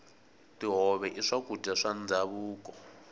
tihove i swakudya swa ndhavuko